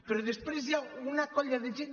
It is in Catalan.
però després hi ha una colla de gent